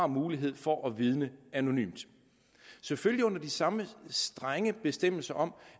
mulighed for at vidne anonymt selvfølgelig under de samme strenge bestemmelser om